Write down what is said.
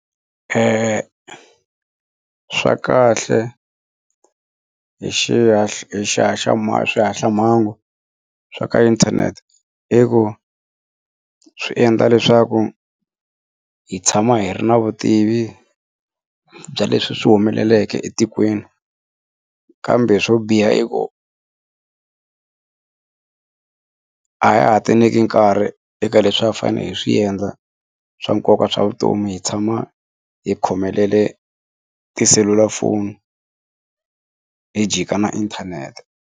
swa kahle hi hi swihaxamhangu swa ka inthanete i ku swi endla leswaku hi tshama hi ri na vutivi bya leswi swi humeleleke etikweni kambe swo biha i ku a ha ha ti nyiki nkarhi eka leswi a hi fanele hi swi endla swa nkoka swa vutomi hi tshama hi khomelele tiselulafoni hi jika na inthanete.